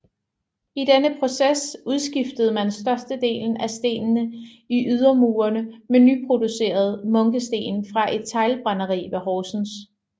I denne proces udskiftede man størstedelen af stenene i ydermurene med nyproducerede munkesten fra et teglbrænderi ved Horsens